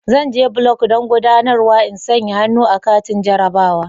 Zan je block don guɗanarwa in sanƴa hannu a katin jarrabawa.